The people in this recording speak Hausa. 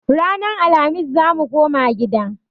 Ranan Alhamis zamu koma gida